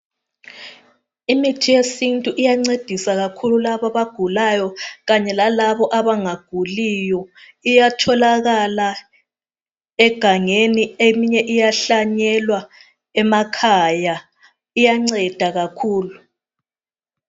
Imithi yesintu iyancedisa kakhulu labo abagulayo lalabo abanguliyo, itholakala egangeni eminye iyahlanyelwa emakhaya, iyancedisa kakhulu.